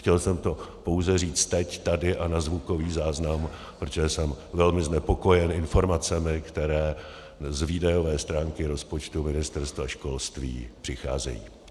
Chtěl jsem to pouze říct teď, tady a na zvukový záznam, protože jsem velmi znepokojen informacemi, které z výdajové stránky rozpočtu Ministerstva školství přicházejí.